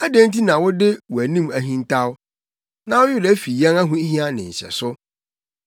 Adɛn nti na wode wʼanim ahintaw na wo werɛ fi yɛn ahohia ne nhyɛso?